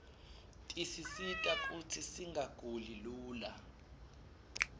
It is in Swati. tisisita kutsi singaguli lula